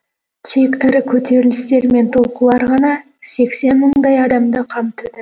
тек ірі көтерілістер мен толқулар ғана сексен мыңдай адамды қамтыды